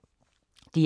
DR K